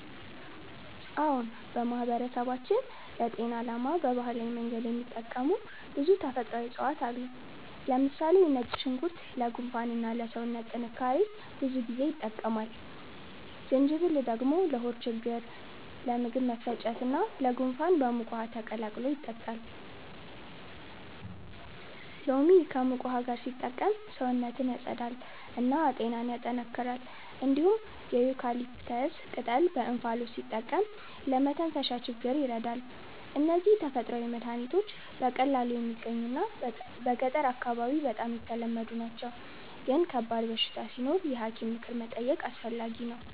አዎን፣ በማህበረሰባችን ለጤና ዓላማ በባህላዊ መንገድ የሚጠቀሙ ብዙ ተፈጥሯዊ እፅዋት አሉ። ለምሳሌ ነጭ ሽንኩርት ለጉንፋን እና ለሰውነት ጥንካሬ ብዙ ጊዜ ይጠቀማል። ጅንጅብል ደግሞ ለሆድ ችግኝ፣ ለምግብ መፈጨት እና ለጉንፋን በሙቅ ውሃ ተቀላቅሎ ይጠጣል። ሎሚ ከሙቅ ውሃ ጋር ሲጠቀም ሰውነትን ያጸዳል እና ጤናን ያጠናክራል። እንዲሁም የዩካሊፕተስ ቅጠል በእንፋሎት ሲጠቀም ለመተንፈሻ ችግኝ ይረዳል። እነዚህ ተፈጥሯዊ መድሀኒቶች በቀላሉ የሚገኙ እና በገጠር አካባቢ በጣም ተለመዱ ናቸው፣ ግን ከባድ በሽታ ሲኖር የሐኪም ምክር መጠየቅ አስፈላጊ ነው።